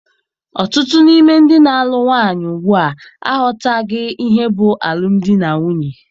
Ọtụtụ n'ime ndị na-alụ nwaanyị ugbua aghọtaghị ihe bụ alụmdi na nwunye.